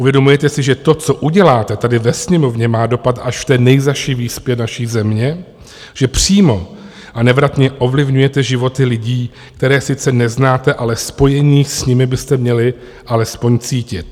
Uvědomujete si, že to, co uděláte tady ve Sněmovně, má dopad až v té nejzazší výspě naší země, že přímo a nevratně ovlivňujete životy lidí, které sice neznáte, ale spojení s nimi byste měli alespoň cítit?